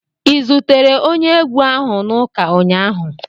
Ị zutere onye egwu ahụ na ụka ụnyaahụ?